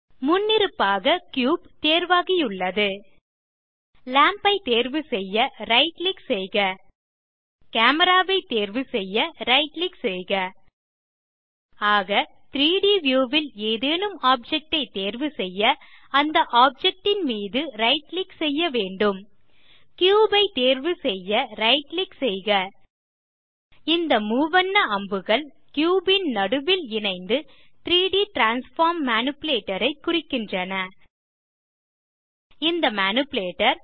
முன்னிருப்பாக கியூப் தேர்வாகியுள்ளது லாம்ப் ஐ தேர்வுசெய்ய ரைட் கிளிக் செய்க கேமரா ஐ தேர்வுசெய்ய ரைட் கிளிக் செய்க ஆக 3ட் வியூ ல் ஏதேனும் ஆப்ஜெக்ட் ஐ தேர்வுசெய்ய அந்த ஆப்ஜெக்ட் ன் மீது ரைட் கிளிக் செய்ய வேண்டும் கியூப் ஐ தேர்வுசெய்ய ரைட் கிளிக் செய்க இந்த மூவண்ண அம்புகள் கியூப் ன் நடுவில் இணைந்து 3ட் டிரான்ஸ்ஃபார்ம் மேனிபுலேட்டர் ஐ குறிக்கின்றன இந்த மேனிபுலேட்டர்